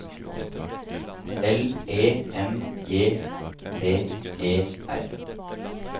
L E N G T E R